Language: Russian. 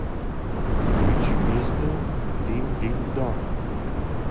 включи песню динг динг донг